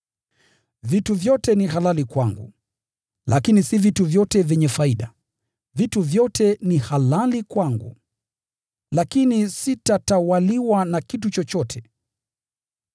“Vitu vyote ni halali kwangu”: lakini si vitu vyote vyenye faida. “Vitu vyote ni halali kwangu”: lakini sitatawaliwa na kitu chochote.